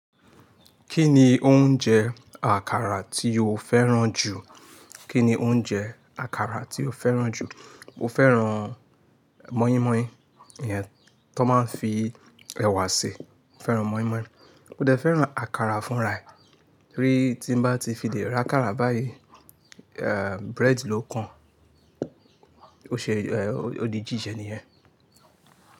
Kí ni oúnjẹ àkàrà tí o fẹ́ràn jù? Kí ni oúnjẹ àkàrà tí o fẹ́ràn jù? Mo fẹ́ràn mọ́ínmọ́ín, ìyẹn tí wón máa ń fi ẹ̀wà ṣe. Mo fẹ́ràn mọ́ínmọ́ín. Mo dẹ fẹ́ràn àkàrà fúnra ẹ̀, torí tí n bá ti fi lè ri àkàrà báyìí, bread ló kan. O ṣe ó di jíjẹ nìyẹn.